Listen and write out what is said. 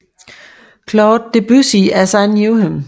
Claude Debussy as I Knew Him